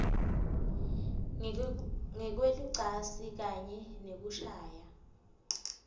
ngekwelucansi kanye nekushaya